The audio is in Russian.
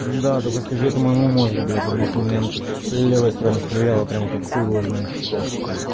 да только скажи это моему мозгу бля потому что у меня левая сторона стреляла прямо как хуй его знает что